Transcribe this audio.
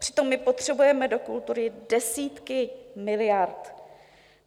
Přitom my potřebujeme do kultury desítky miliard.